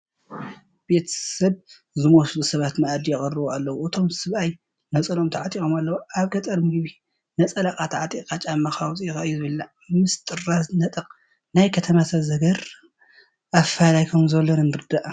ቤተ ሰብ ዝመስሉ ሰባት መኣዲ ይቐርቡ ኣለዉ፡፡ እቶም ሰብኣይ ነፀልኦም ተዓጢቖም ኣለዉ፡፡ ኣብ ገጠር ምግቢ ነፀላኻ ተዓጢቕካ ጫማካ ኣውፂእኻ እዩ ዝብላዕ፡፡ ምስ ጥራዝ ነጠቕ ናይ ከተማ ሰብ ዝገርም ኣፈላላይ ከምዘሎ ንረዳእ፡፡